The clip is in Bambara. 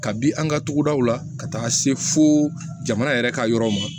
Kabi an ka togodaw la ka taa se fo jamana yɛrɛ ka yɔrɔ ma